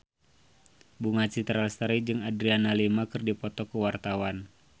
Bunga Citra Lestari jeung Adriana Lima keur dipoto ku wartawan